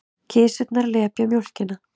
Kisurnar lepja mjólkina.